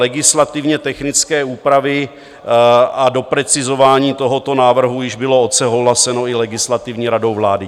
Legislativně technické úpravy a doprecizování tohoto návrhu již bylo odsouhlaseno i Legislativní radou vlády.